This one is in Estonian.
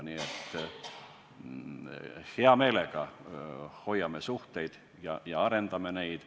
Nii et hea meelega hoiame suhteid ja arendame neid.